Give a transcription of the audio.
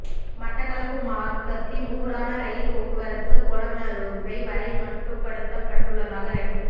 மட்டக்களப்பு மார்க்கத்தின் ஊடான ரயில் போக்குவரத்து பொலன்னறுவை வரை மட்டுப்படுத்தப்பட்டுள்ளதாக ரயில்வே